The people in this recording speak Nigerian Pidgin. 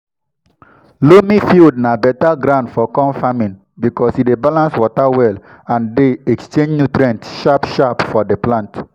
loamy field na better ground for corn farming because e dey balance water well and dey exchange nutrient sharp-sharp for the plant.